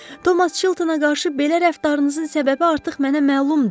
Thomas Chiltona qarşı belə rəftarınızın səbəbi artıq mənə məlumdu.